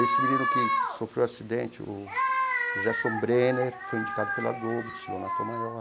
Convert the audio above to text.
Esse menino que sofreu um acidente, o Gerson Brenner, foi indicado pela Globo, desfilou na Tom Maior.